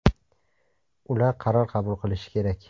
Ular qaror qabul qilishi kerak.